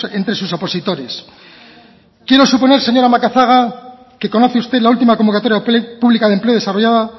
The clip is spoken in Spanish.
entre sus opositores quiero suponer señora macazaga que conoce usted la última convocatoria pública de empleo desarrollada